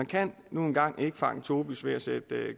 kan nu engang ikke fange tobis ved at sætte